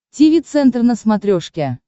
тиви центр на смотрешке